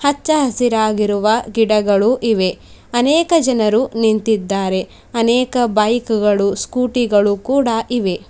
ಹಚ್ಚ ಹಸಿರಾಗಿರುವ ಗಿಡಗಳು ಇವೆ ಅನೇಕ ಜನರು ನಿಂತಿದ್ದಾರೆ ಅನೇಕ ಬೈಕ್ ಗಳು ಸ್ಕೂಟಿ ಗಳು ಕೂಡ ಇವೆ.